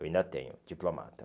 Eu ainda tenho, diplomata.